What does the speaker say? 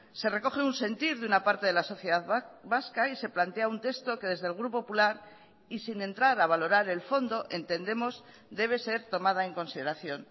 se recoge un sentir de una parte de la sociedad vasca y se plantea un texto que desde el grupo popular y sin entrar a valorar el fondo entendemos debe ser tomada en consideración